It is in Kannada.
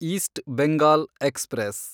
East Bengal express